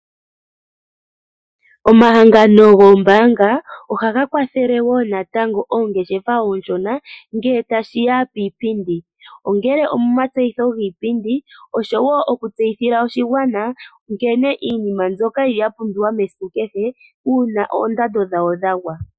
Omahangano goombaanga ohaga kwathele woo natango oongeshefa ooshona ngele tashiya kiipiindi ,ongele omatseyitho giipindi oshowo oku tseyithila oshigwana uuna oondando dhawo dhagwa.